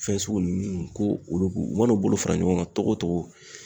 Fɛn sugu nunnu ko olu , u ma n'u bolo fara ɲɔgɔn kan togo togo